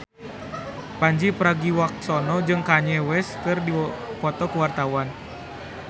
Pandji Pragiwaksono jeung Kanye West keur dipoto ku wartawan